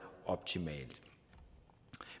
optimalt